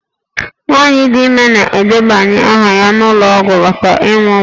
Nwaanyị dị ime na-edebanye aha ya n'ụlọ ọgwụ maka ịmụ nwa